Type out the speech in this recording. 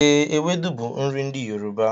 E, ewedu bu nri ndi Yoruba